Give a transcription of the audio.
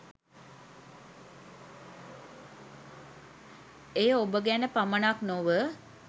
එය ඔබ ගැන පමණක් නොව